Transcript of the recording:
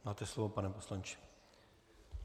Máte slovo, pane poslanče.